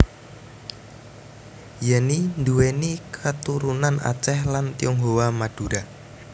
Yenny nduwèni katurunan Aceh lan Tionghoa Madura